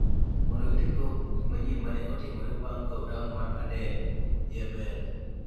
mondo gitim tuak kuom gik manyien ma ne otimore bang’ kawo taon mar Aden, Yemen.